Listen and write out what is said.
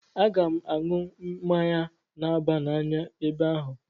Aga m aṅụ mmanya na-aba n'anya ebe ahụ.